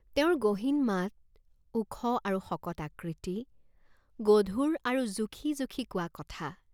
তেওঁৰ গহীন মাত, ওখ আৰু শকত আকৃতি, গধুৰ আৰু জুখি জুখি কোৱা কথা।